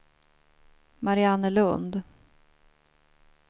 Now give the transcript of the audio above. Mariannelund